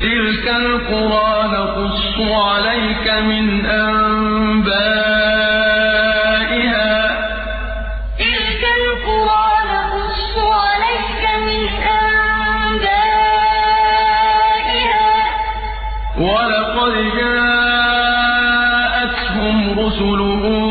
تِلْكَ الْقُرَىٰ نَقُصُّ عَلَيْكَ مِنْ أَنبَائِهَا ۚ وَلَقَدْ جَاءَتْهُمْ رُسُلُهُم